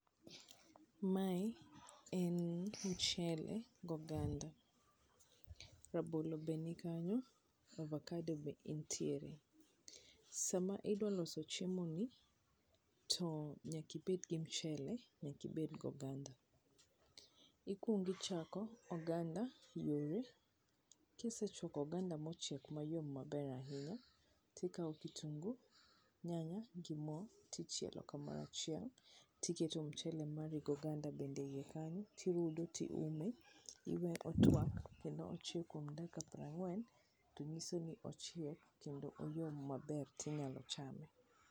Mae en mchele gi oganda rabolo be ni kanyo, to avakado be entiere. Sama idwa loso chiemoni to nyaka ibed gi mchele, nyaka ibed gi oganda. Ikuongo ichako oganda yore, kisechwako oganda mochiek mayom maber ahinya, tikao kitungu nyanya gi mo tichielo kamoro achiel, tiketo mchele mari goganda bende e ie kanyo, tirude tiume tiweye otwak kuom dakika prang'wen to nyiso ni ochiek kendo oyom maber tinyalo chame.